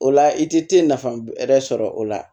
O la i tɛ te nafa wɛrɛ sɔrɔ o la